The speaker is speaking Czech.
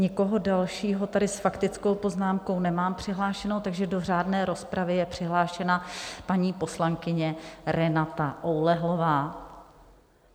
Nikoho dalšího tady s faktickou poznámkou nemám přihlášeného, takže do řádné rozpravy je přihlášena paní poslankyně Renata Oulehlová.